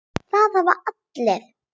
Það hafa allir